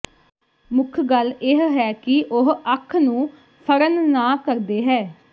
ਮੁੱਖ ਗੱਲ ਇਹ ਹੈ ਕਿ ਉਹ ਅੱਖ ਨੂੰ ਫੜਨ ਨਾ ਕਰਦੇ ਹੈ